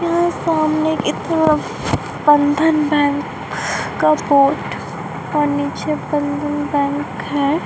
यहा सामने की तरफ बंधन बैंक का बोर्ड और निचे बंधन बैंक है।